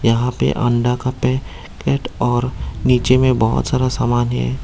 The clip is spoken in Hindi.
यहां पे अंडा का पैकेट और नीचे में बहुत सारा सामान है।